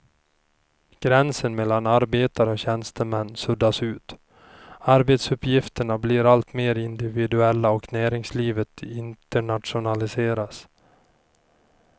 Gränsen mellan arbetare och tjänstemän suddas ut, arbetsuppgifterna blir alltmer individuella och näringslivet internationaliseras.